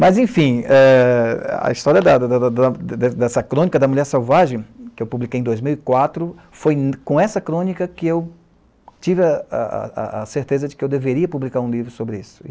Mas, enfim, é a história da, da, da, da, da dessa crônica da Mulher Salvagem, que eu publiquei em dois mil e quatro, foi com essa crônica que eu tive a, a, a, certeza de que eu deveria publicar um livro sobre isso.